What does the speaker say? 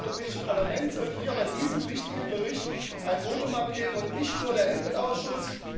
Das gesamte Europäische Parlament sollte hier bei diesem wichtigen Bericht ein Votum abgeben und nicht nur der EMPL Ausschuss.